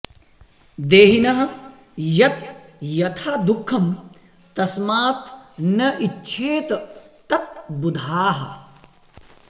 देहिनः यत् यथा दुःखं तस्मात् न इच्छेत तत् बुधाः